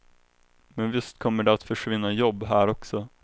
Men visst kommer det att försvinna jobb här också.